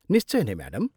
निश्चय नै, म्याडम।